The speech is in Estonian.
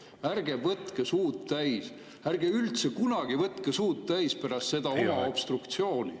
Ärge võtke suud täis, ärge üldse kunagi võtke suud täis pärast seda oma obstruktsiooni.